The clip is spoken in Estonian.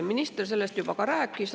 Minister sellest juba ka rääkis.